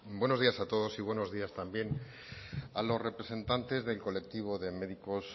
buenos días a todos y buenos días también a los representantes del colectivo de médicos